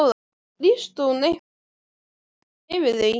Lýsti hún einhverjum áhyggjum yfir því?